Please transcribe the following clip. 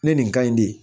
Ne nin ka ɲi de